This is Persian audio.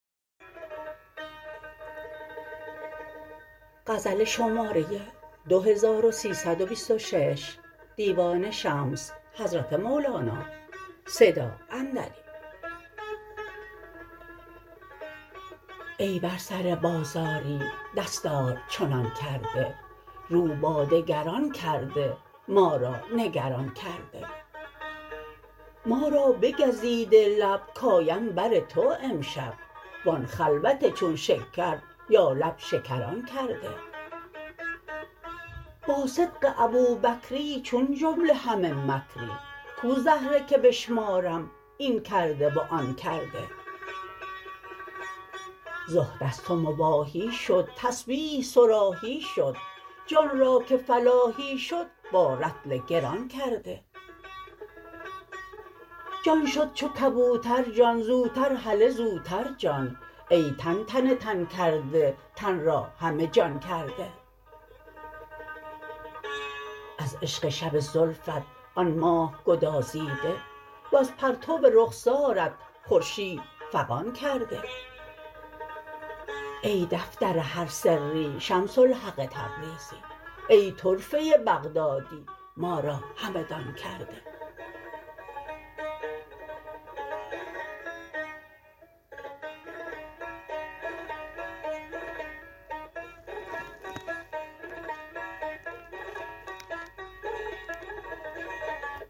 ای بر سر بازاری دستار چنان کرده رو با دگران کرده ما را نگران کرده ما را بگزیده لب کیم بر تو امشب و آن خلوت چون شکر یا لب شکران کرده با صدق ابوبکری چون جمله همه مکری کو زهره که بشمارم این کرده و آن کرده زهد از تو مباحی شد تسبیح صراحی شد جان را که فلاحی شد با رطل گران کرده جان شد چو کبوتر جان زوتر هله زوتر جان ای تن تنتن کرده تن را همه جان کرده از عشق شب زلفت آن ماه گدازیده وز پرتو رخسارت خورشید فغان کرده ای دفتر هر سری شمس الحق تبریزی ای طرفه بغدادی ما را همدان کرده